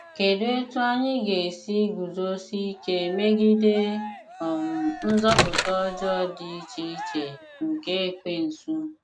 Kedụ etú anyị ga esi ‘ guzosie ike megide um nzupụta ọjọọ dị iche iche nke Ekwensu ’?